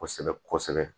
Kosɛbɛ kosɛbɛ